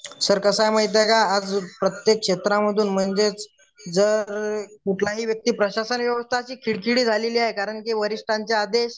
sir कसं आहे माहिती का आज प्रत्येक क्षेत्राध्ये म्हणजे जर कुठलाही व्यक्ती प्रशासन व्यवस्था अशी खिळखिळी झालेली आहे कारण वरिष्ठांचे आदेश